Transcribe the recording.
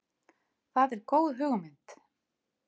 Það er góð hugmynd.